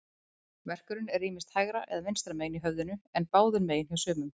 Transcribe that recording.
Verkurinn er ýmist hægra eða vinstra megin í höfðinu, en báðum megin hjá sumum.